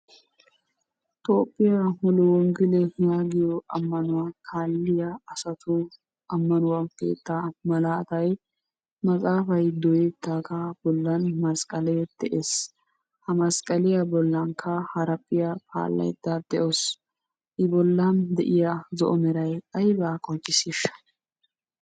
Toophphiya mule woggele yaagiyo ammanuwa kaalliya asati ammanuwa keettaa malaatay matsaafay dooyettidaagaa bollan masqqalee de'ees. Ha masqqaliya bollankka haraphphiya paallaydda de'awusu. I bollan de'iya zo'o meray aybaa qonccissiishsha?